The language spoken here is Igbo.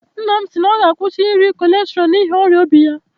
Nne m sịrị na ọ ga-akwụsị iri kọlesterọl n'ihi ọrịa obi ya